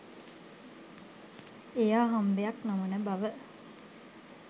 එය අහම්බයක් නොවන බව